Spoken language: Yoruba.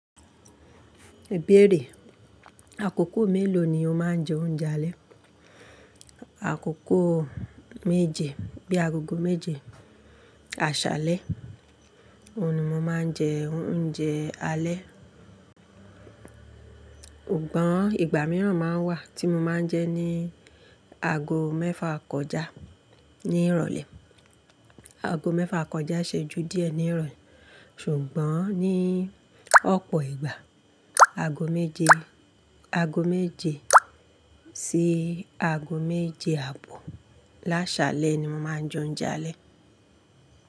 Èbèré. Àkókò mélòó ni o máa ń jẹ oúnjẹ alẹ́? Àkókò méje bí i agogo méje àṣalẹ, òun ni mo máa ń jẹ oúnjẹ alẹ́. Ògbọ́n ìgbà mìíràn máa ń wà tí mo máa ń jẹ ní ago mẹ́fa kọjá ní ìrọ̀lẹ́. Ago mẹ́fa kọjá iṣeju díẹ̀ ní ìrọ̀lẹ́ ṣùgbọ́n ní ọ̀pọ̀ ìgbà, ago méje, ago méje sí ago méje àbọ̀ lásalẹ́ ni mo máa ń jẹ oúnjẹ alẹ́.